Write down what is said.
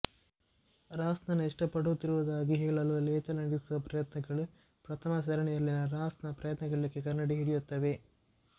ರಾಸ್ ನನ್ನು ಇಷ್ಟಪಡುತ್ತಿರುವುದಾಗಿ ಹೇಳಲು ರೇಚಲ್ ನಡೆಸುವ ಪ್ರಯತ್ನಗಳು ಪ್ರಥಮ ಸರಣಿಯಲ್ಲಿನ ರಾಸ್ ನ ಪ್ರಯತ್ನಗಳಿಗೆ ಕನ್ನಡಿ ಹಿಡಿಯುತ್ತವೆ